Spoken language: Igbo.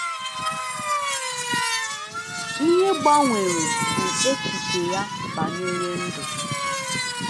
Ihe gbanwere bụ echiche ya banyere ndụ.